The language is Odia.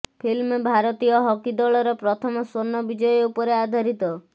ଫିଲ୍ମ ଭାରତୀୟ ହକି ଦଳର ପ୍ରଥମ ସ୍ୱର୍ଣ୍ଣ ବିଜୟ ଉପରେ ଆଧାରିତ